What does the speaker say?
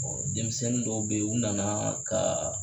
denmisɛnnin dɔw bɛ yen u nana ka